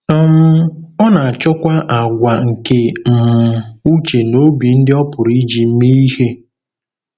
um Ọ na-achọkwa àgwà nke um uche na obi ndị ọ pụrụ iji mee ihe.